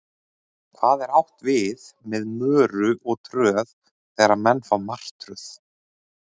Hvað er átt við með möru og tröð þegar menn fá martröð?